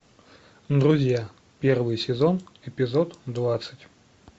друзья первый сезон эпизод двадцать